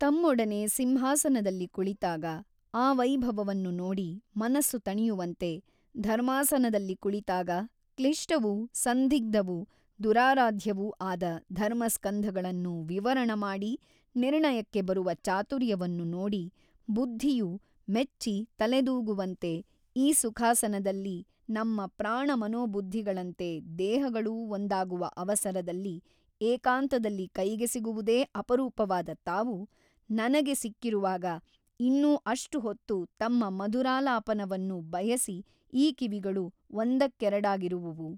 ತಮ್ಮೊಡನೆ ಸಿಂಹಾಸನದಲ್ಲಿ ಕುಳಿತಾಗ ಆ ವೈಭವವನ್ನು ನೋಡಿ ಮನಸ್ಸು ತಣಿಯುವಂತೆ ಧರ್ಮಾಸನದಲ್ಲಿ ಕುಳಿತಾಗ ಕ್ಲಿಷ್ಟವೂ ಸಂದಿಗ್ಧವೂ ದುರಾರಾಧ್ಯವೂ ಆದ ಧರ್ಮಸ್ಕಂಧಗಳನ್ನು ವಿವರಣಮಾಡಿ ನಿರ್ಣಯಕ್ಕೆ ಬರುವ ಚಾತುರ್ಯವನ್ನು ನೋಡಿ ಬುದ್ಧಿಯು ಮೆಚ್ಚಿ ತಲೆದೂಗುವಂತೆ ಈ ಸುಖಾಸನದಲ್ಲಿ ನಮ್ಮ ಪ್ರಾಣಮನೋಬುದ್ಧಿಗಳಂತೆ ದೇಹಗಳೂ ಒಂದಾಗುವ ಅವಸರದಲ್ಲಿ ಏಕಾಂತದಲ್ಲಿ ಕೈಗೆ ಸಿಗುವುದೇ ಅಪರೂಪವಾದ ತಾವು ನನಗೆ ಸಿಕ್ಕಿರುವಾಗ ಇನ್ನೂ ಅಷ್ಟು ಹೊತ್ತು ತಮ್ಮ ಮಧುರಾಲಾಪವನ್ನು ಬಯಸಿ ಈ ಕಿವಿಗಳು ಒಂದಕ್ಕೆರಡಾಗಿರುವುವು.